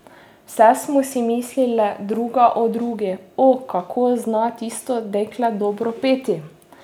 Vse smo si mislile druga o drugi: "O, kako zna tisto dekle dobro peti.